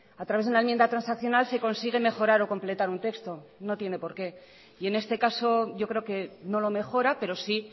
a través de una enmienda transaccional se consigue mejorar o completar un texto no tiene por qué y en este caso yo creo que no lo mejora pero sí